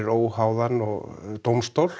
óháðan dómstól